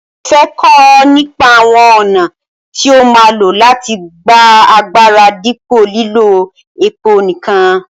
mo fẹ́ kọ́ nípa àwọn ọ̀nà tí ó mọ́ láti gba agbára dípò lílo epo nìkan.